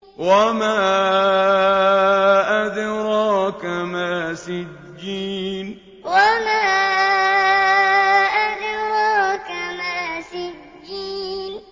وَمَا أَدْرَاكَ مَا سِجِّينٌ وَمَا أَدْرَاكَ مَا سِجِّينٌ